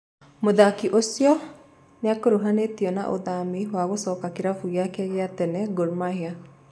Mũthaki ũcio nĩakurũhanĩtio na ũthami wa gũcoka kĩrabu giake gĩa tene Gor mahia.